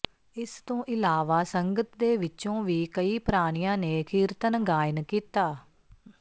ਇਸ ਤੋਂ ਇਲਾਵਾ ਸੰਗਤ ਦੇ ਵਿੱਚੋਂ ਵੀ ਕਈ ਪ੍ਰਾਣੀਆਂ ਨੇ ਕੀਰਤਨ ਗਾਇਨ ਕੀਤਾ